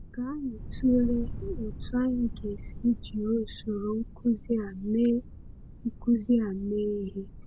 Ka anyị tụlee otú anyị ga-esi jiri usoro nkuzi a mee nkuzi a mee ihe.